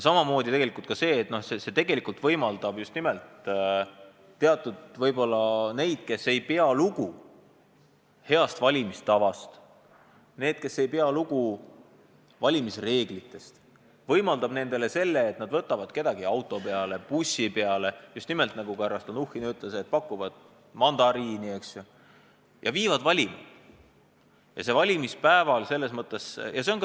See võimaldab just nimelt nende puhul, kes ei pea lugu heast valimistavast ja valimisreeglitest, sellist käitumist, et nad võtavad kellegi auto või bussi peale, pakuvad mandariini – nagu härra Stalnuhhin ütles – ja viivad valima.